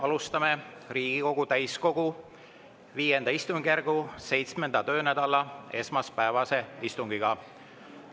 Alustame Riigikogu täiskogu V istungjärgu 7. töönädala esmaspäevast istungit.